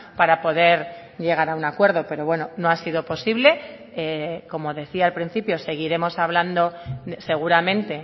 para poder llegar a un acuerdo pero bueno no ha sido posible como decía al principio seguiremos hablando seguramente